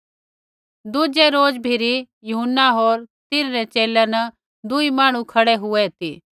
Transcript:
दुज़ै रोज भिरी यूहन्ना होर तिन्हरै च़ेले न दुई मांहणु खड़ै हुऐ ती